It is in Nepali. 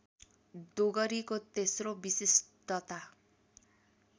डोगरीको तेस्रो विशिष्टता